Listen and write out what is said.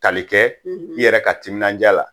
Tali kɛ i yɛrɛ ka timinanja la